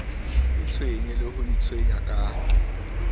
itshwenye le ho itshwenya ka